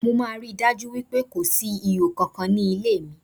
Mo máa rí i dájú pé kò síhò kankan nílé mi.